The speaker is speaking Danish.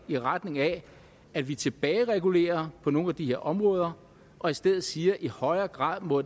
i retning af at vi tilbageregulerer på nogle af de her områder og i stedet siger at i højere grad må